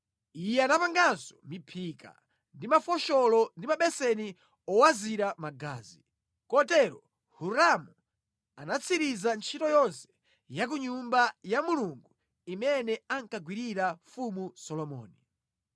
Iye anapanganso miphika ndi mafosholo ndi mabeseni owazira magazi. Kotero Hiramu anatsiriza ntchito yonse ya ku Nyumba ya Mulungu imene ankagwirira Mfumu Solomoni: